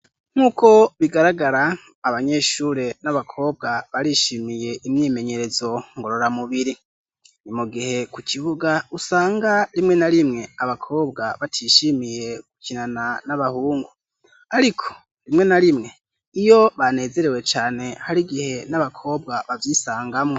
Nk'uko bigaragara abanyeshure n'abakobwa barishimiye imyimenyerezo ngorora mubiri .Ni mu gihe ku kibuga usanga rimwe na rimwe abakobwa batishimiye gukinana n'abahungu ariko rimwe na rimwe iyo banezerewe cane hari igihe n'abakobwa bayisangamo.